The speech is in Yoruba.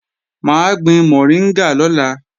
Mà á gbin mọ̀ríngà lọ́la